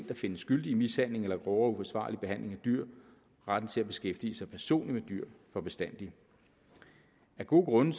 der findes skyldig i mishandling eller grovere uforsvarlig behandling af dyr retten til at beskæftige sig personligt med dyr for bestandig af gode grunde